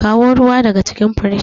kawo ruwa daga cikin fridge